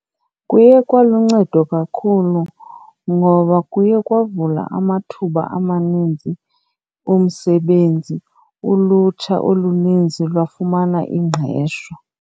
Kuye kwaluncedo kakhulu ngoba kuye kwavulwa amathuba amaninzi omsebenzi. Ulutsha oluninzi lwafumana ingqesho.